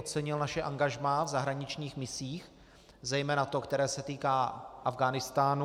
Ocenil naše angažmá v zahraničních misích, zejména to, které se týká Afghánistánu.